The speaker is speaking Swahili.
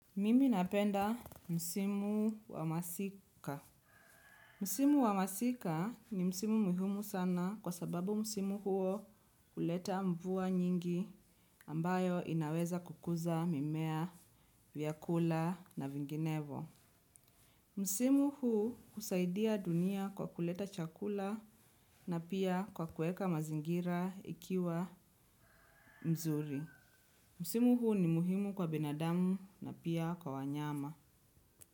Mimi napenda msimu wa masika. Msimu wa masika ni msimu muhimu sana kwa sababu msimu huo huleta mvua nyingi ambayo inaweza kukuza mimea, vyakula na vinginevo. Msimu huu husaidia dunia kwa kuleta chakula na pia kwa kuweka mazingira ikiwa nzuri. Msimu huu ni muhumu kwa binadamu na pia kwa wanyama.